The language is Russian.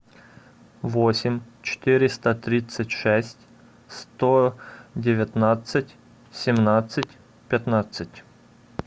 восемь четыреста тридцать шесть сто девятнадцать семнадцать пятнадцать